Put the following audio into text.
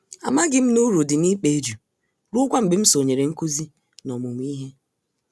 Amaghịm na uru dị n'ịkpa eju ruokwa mgbe m sonyere nkụzi na ọmụmụ ìhè.